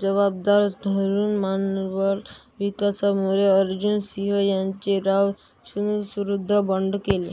जबाबदार धरून मनुष्यबळ विकासमंत्री अर्जुन सिंग यांनी राव यांच्याविरुद्ध बंड केले